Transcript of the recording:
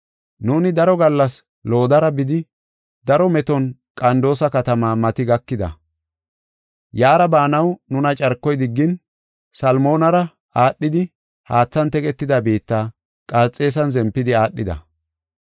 Nuuni daro gallas loddara bidi, daro meton Qandoosa katama mati gakida. Yaara baanaw nuna carkoy diggin Salmonara aadhidi haathan teqetida biitta, Qarxeesan zempidi aadhida.